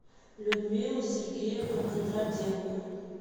людмилу сергеевну кондратенко